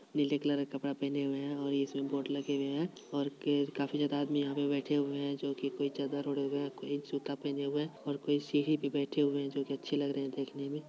नीले कलर का कपड़ा पहने हुए है और काफी ज्यादा आदमी यहां बैठे हुए है जो की कोई चादर ओढ़े हुए है कोई जूता पहने हुए है और कोई सीढ़ी पे बैठे हुए है जो अच्छे लग रहे है देखने में ---